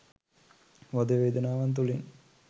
වද වේදනාවන් තුළින්